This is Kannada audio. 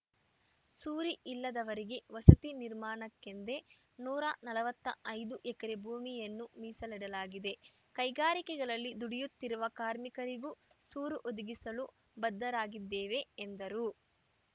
ಸೂರಿಲ್ಲದವರಿಗೆ ವಸತಿ ನಿರ್ಮಾಣಕ್ಕೆಂದೆ ನೂರ ನಲವತ್ತ ಐದು ಎಕರೆ ಭೂಮಿಯನ್ನು ಮೀಸಲಿಡಲಾಗಿದೆ ಕೈಗಾರಿಕೆಗಳಲ್ಲಿ ದುಡಿಯುತ್ತಿರುವ ಕಾರ್ಮಿಕರಿಗೂ ಸೂರು ಒದಗಿಸಲು ಬದ್ಧರಾಗಿದ್ದೇವೆ ಎಂದರು